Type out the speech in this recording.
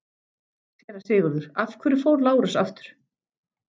SÉRA SIGURÐUR: Af hverju fór Lárus aftur?